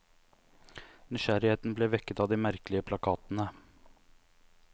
Nysgjerrigheten ble vekket av de merkelige plakatene.